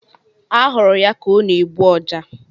A hụrụ ya ka ọ na-egbu Ọja